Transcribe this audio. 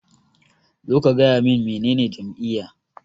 Zo ka gaya min menene jam'iyya.